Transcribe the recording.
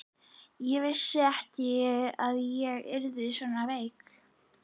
Ég vissi ekki að ég yrði svona veik.